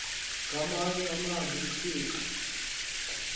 ngamanye amazwi uthixo